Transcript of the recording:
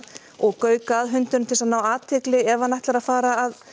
og gauka að hundinum til þess að ná athygli ef hann ætlar að fara